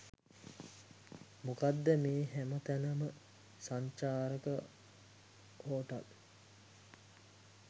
මොකක්ද මේ හැමතැනම සංචාරක හෝටල්